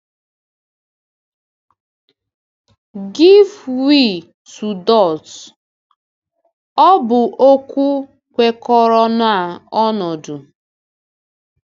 "Gịve wè to dọut” — ọ̀ bụ okwu kwekọrọ na ọnọdụ!